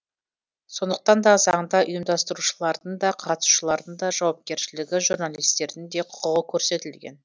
сондықтан да заңда ұйымдастырушылардың да қатысушылардың жауапкершілігі журналистердің де құқығы көрсетілген